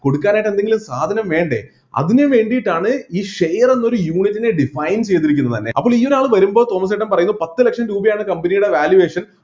കൊടുക്കാനായിട്ട് എന്തെങ്കിലും സാധനം വേണ്ടേ അതിന് വേണ്ടിയിട്ടാണ് ഈ share എന്ന ഒരു unit നെ define ചെയ്‌തിരിക്കുന്നത്‌ തന്നെ അപ്പൊ ഈ ആൾ വരുമ്പോ തോമസ് ചേട്ടൻ പറയുന്നു പത്ത് ലക്ഷം രൂപയാണ് company യുടെ valuation